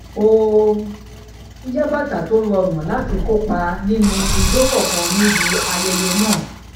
ó yá bàtà tó rọrùn láti kópa nínú ijó kánkán níbi ayẹyẹ náà